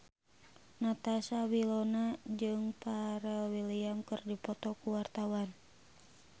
Natasha Wilona jeung Pharrell Williams keur dipoto ku wartawan